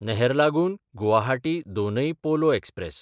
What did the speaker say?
Naharlagun Guwahati Donyi Polo express